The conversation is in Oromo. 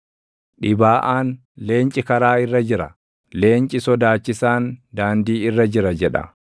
Dhibaaʼaan, “Leenci karaa irra jira; leenci sodaachisaan daandii irra jira!” jedha.